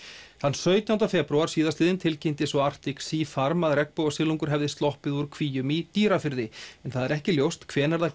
sautjánda febrúar síðastliðinn tilkynnti svo Arctic Sea farm að regnbogasilungur hefði sloppið úr kvíum í Dýrafirði en ekki er ljóst hvenær það